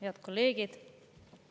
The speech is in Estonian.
Head kolleegid!